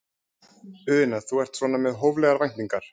Una: Þú ert svona með hóflegar væntingar?